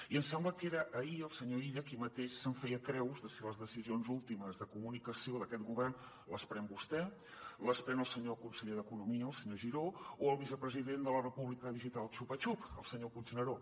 i em sembla que era ahir que el senyor illa aquí mateix se’n feia creus de si les decisions últimes de comunicació d’aquest govern les pren vostè les pren el senyor conseller d’economia el senyor giró o el vicepresident de la república digital xupa xup el senyor puigneró